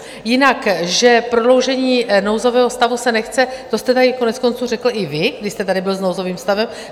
Jinak že prodloužení nouzového stavu se nechce, to jste tady konec konců řekl i vy, když jste tady byl s nouzovým stavem.